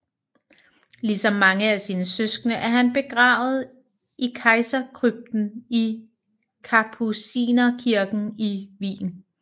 Ligesom mange af sine søskende er han begravet i Kejserkrypten i Kapucinerkirken i Wien